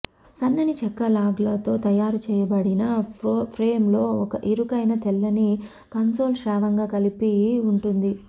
సన్నని చెక్క లాగ్లతో తయారు చేయబడిన ఫ్రేమ్లో ఒక ఇరుకైన తెల్లని కన్సోల్ శ్రావ్యంగా కలిపి ఉంటుంది